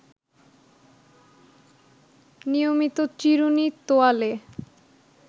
নিয়মিত চিরুনি, তোয়ালে